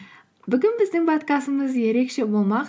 бүгін біздің подкастымыз ерекше болмақ